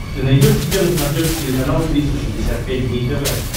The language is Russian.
ты найдешь у себя на смотрешке телеканал триста шестьдесят пять дней тв